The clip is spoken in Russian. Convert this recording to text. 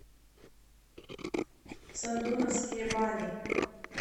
сандуновские бани